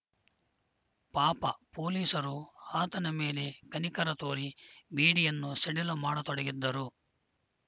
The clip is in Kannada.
ಪಾಪ ಪೊಲೀಸರೂ ಆತನ ಮೇಲೆ ಕನಿಕರ ತೋರಿ ಬೀಡಿಯನ್ನು ಸಡಿಲ ಮಾಡತೊಡಗಿದ್ದರು